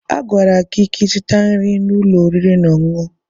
A gwara gị ka ịzụta nri n'ụlọ oriri na ọṅụṅụ!